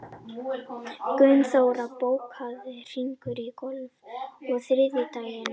Gunnþóra, bókaðu hring í golf á þriðjudaginn.